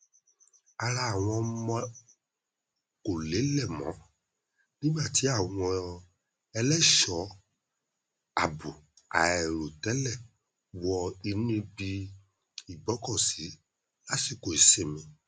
ara àwọn ọmọ kò lélẹ mọ nígbà tí àwọn ẹlẹṣọọ àbò àìròtẹlẹ wọ inú ibi igbọkọsí lásìkò ìsinmi